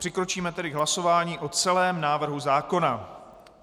Přikročíme tedy k hlasování o celém návrhu zákona.